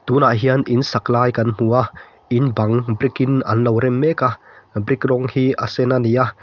tunah hian in sak lai kan hmu a in bang brick in an lo rem mek a brick rawng hi a sen a ni a.